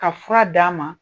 Ka fura d'a ma